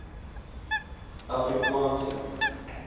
afrikaanse